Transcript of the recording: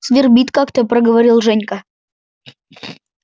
свербит как-то проговорил женька